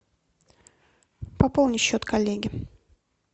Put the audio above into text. пополни счет коллеги